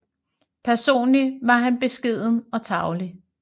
Personlig var han beskeden og tarvelig